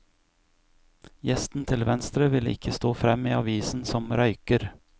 Gjesten til venstre ville ikke stå frem i avisen som røyker.